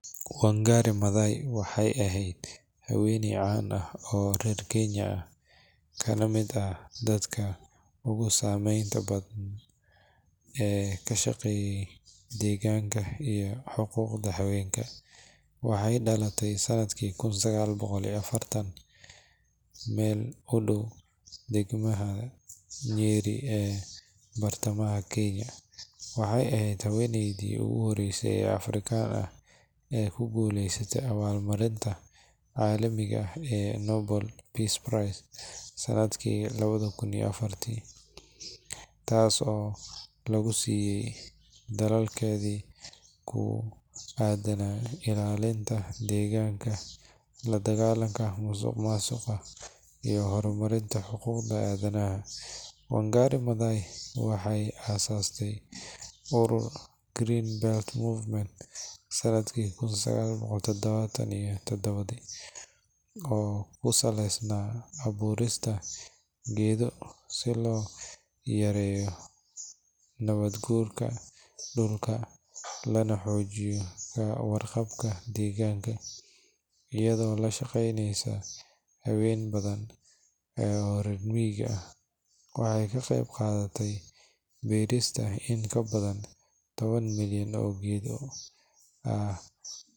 Wangari Maathai waxay ahayd haweeney caan ah oo reer Kenya ah, kana mid ahayd dadka ugu saameynta badan ee ka shaqeeyay deegaanka iyo xuquuqda haweenka. Waxay dhalatay sanadkii 1940 meel u dhow degmada Nyeri ee bartamaha Kenya. Waxay ahayd haweeneydii ugu horreysay ee Afrikaan ah ee ku guuleysata abaalmarinta caalamiga ah ee Nobel Peace Prize sanadkii 2004, taas oo lagu siiyay dadaalkeedii ku aaddanaa ilaalinta deegaanka, la dagaallanka musuqmaasuqa iyo horumarinta xuquuqda aadanaha. Wangari Maathai waxay aasaastay ururka Green Belt Movement sanadkii kun sagal boqol sagashan iyo taddawa, oo ku saleysnaa abuurista geedo si loo yareeyo nabaadguurka dhulka, lana xoojiyo ka warqabka deegaanka. Iyadoo la shaqeynaysa haween badan oo reer miyiga ah, waxay ka qeyb qaadatay beerista in ka badan toban milyan oo geedo ah.